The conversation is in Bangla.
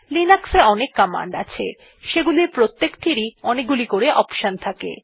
লিনাক্স এ অনেক কমান্ড আছে যেগুলির প্রত্যেকটির অনেকগুলি অপশন আছে